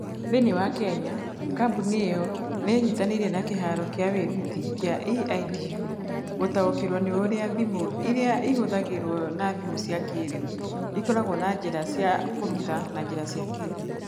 Thĩinĩ wa Kenya, kambuni ĩyo nĩ ĩnyitanĩire na kĩharo kĩa wĩruti kĩa EIDU gũtaũkĩrũo nĩ ũrĩa thimũ iria ihũthagĩrũo na thimũ cia kĩĩrĩu ikoragwo na njĩra cia kũruta na njĩra cia kĩĩrĩu.